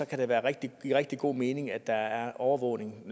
kan der være rigtig rigtig god mening i at der er overvågning